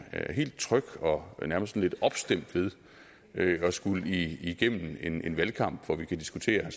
helt tryg og nærmest lidt opstemt ved at at skulle igennem en valgkamp hvor vi kan diskutere